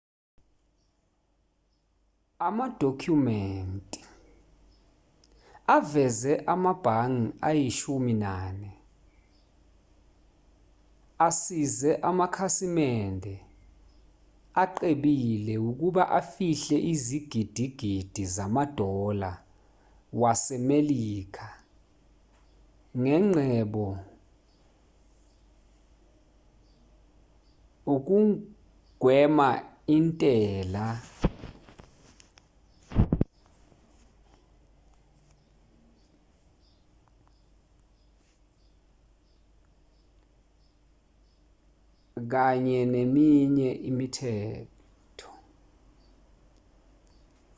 amadokhumenti aveze amabhangi ayishumi nane asize amakhasimende acebile ukuba afihle izigidigidi zama-dollar wase-melika zengcebo ukugwema intela kanye neminye imithetho